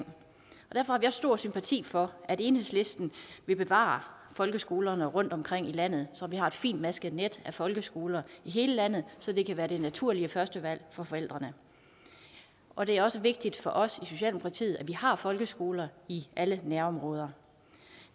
derfor har stor sympati for at enhedslisten vil bevare folkeskolerne rundtomkring i landet så vi har et fintmasket net af folkeskoler i hele landet så det kan være det naturlige første valg for forældrene og det er også vigtigt for os i socialdemokratiet at vi har folkeskoler i alle nærområder